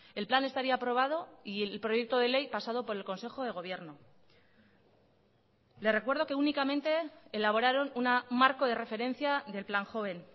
el plan estaría aprobado y el proyecto de ley pasado por el consejo de gobierno le recuerdo que únicamente elaboraron un marco de referencia del plan joven